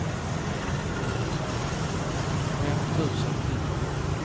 fem tusen nittio